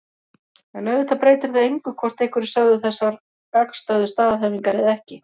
En auðvitað breytir það engu hvort einhverjir sögðu þessar gagnstæðu staðhæfingar eða ekki.